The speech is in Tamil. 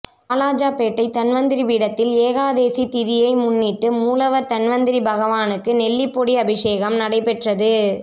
வாலாஜாபேட்டை தன்வந்திரி பீடத்தில் ஏகாதசி திதியை முன்னிட்டு மூலவர் தன்வந்திரி பகவானுக்கு நெல்லிபொடி அபிஷேகம் நடைபெற்றது